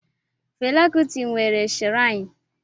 Fela Kuti nwere shirainu